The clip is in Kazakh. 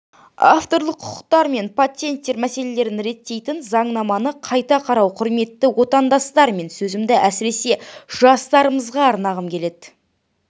авторлық құқықтар мен патенттер мәселелерін реттейтін заңнаманы қайта қарау құрметті отандастар мен сөзімді әсіресе жастарымызға арнағым